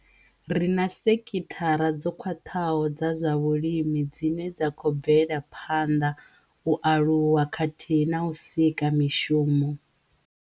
Ri na sekithara dzo khwaṱhaho dza zwa vhulimi dzine dza khou bvela phanḓa, u aluwa khathihi na u sika mishumo.